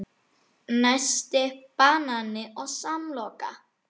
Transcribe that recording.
Nesti: Banani og samloka